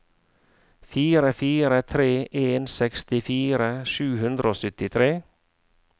fire fire tre en sekstifire sju hundre og syttitre